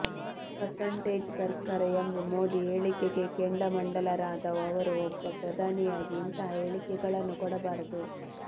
percentage ಸರ್ಕಾರ ಎಂಬ ಮೋದಿ ಹೇಳಿಕೆಗೆ ಕೆಂಡಾಮಂಡಲರಾದ ಅವರು ಒಬ್ಬ ಪ್ರಧಾನಿಯಾಗಿ ಇಂತಹ ಹೇಳಿಕೆಗಳನ್ನು ಕೊಡಬಾರದು